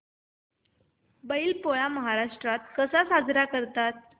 बैल पोळा महाराष्ट्रात कसा साजरा करतात